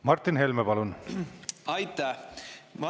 Martin Helme, palun!